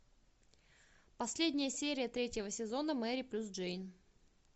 последняя серия третьего сезона мэри плюс джейн